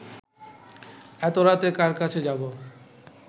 এত রাতে কার কাছে যাব